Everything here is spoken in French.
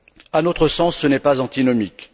À notre sens, ce n'est pas antinomique.